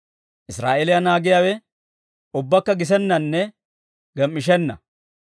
Israa'eeliyaa naagiyaawe, ubbakka gisennanne gem"ishenna.